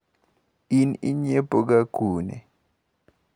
In inyiepo ga kune?